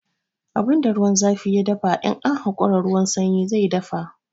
Abun da ruwan zafi ya dafa, in an hakura ruwan sanyi zai dafa.